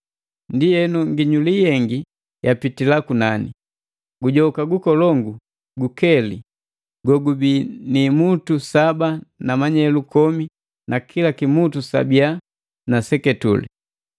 Ndienu, nginyuli yengi yapitila kunani. Gujoka gukolongu gukeli gogubii ni imutu saba na manyelu komi na kila kimutu sabiya na seketule.